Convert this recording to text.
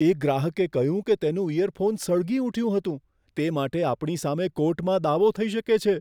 એક ગ્રાહકે કહ્યું કે તેનું ઇયરફોન સળગી ઉઠ્યું હતું, તે માટે આપણી સામે કોર્ટમાં દાવો થઈ શકે છે.